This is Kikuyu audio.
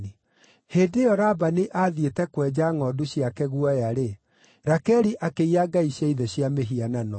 Hĩndĩ ĩyo, Labani aathiĩte kwenja ngʼondu ciake guoya-rĩ, Rakeli akĩiya ngai cia ithe cia mĩhianano.